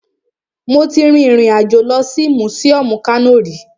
Mo ti rin ìrìn àjò lọ sí mùsíọmù Kano rí